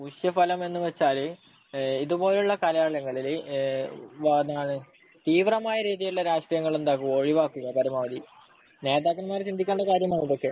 ദൂഷ്യഫലങ്ങൾ എന്നുവച്ചാൽ ഇതുപോലെയുള്ള കലാലയങ്ങളിൽ തീവ്രമായ രാഷ്ട്രീയം ഒഴിവാക്കുക പരമാവധി . നേതാക്കന്മാർ ചിന്തിക്കേണ്ട കാര്യമാണ് ഇതൊക്കെ